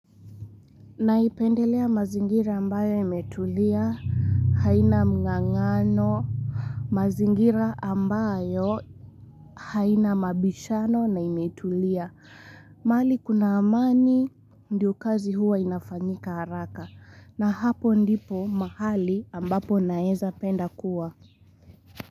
Naipendelea mazingira ambayo imetulia, haina mng'ang'ano, mazingira ambayo haina mabishano na imetulia. Mahali kuna amani ndio kazi huwa inafanyika haraka na hapo ndipo mahali ambapo naeza penda kuwa.